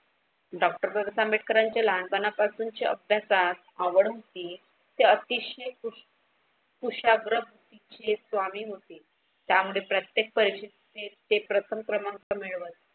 Doctor Babasaheb आंबेडकरांचे लहानपणापासूनचे अभ्यासात आवड होती. ते अतिशय कु कुशाग्र बुध्दि चे स्वामी होते त्यामध्ये प्रत्येक परिक्षेत ते प्रथम क्रमांक मिळवत.